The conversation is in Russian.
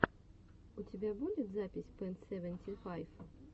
у тебя будет запись пэн сэвэнти файв